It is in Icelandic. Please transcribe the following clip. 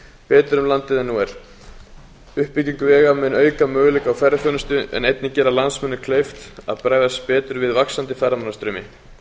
betur um landið en nú er uppbygging vega mun auka möguleika í ferðaþjónustu en einnig gera landsmönnum kleift að bregðast betur við vaxandi ferðamannastraumi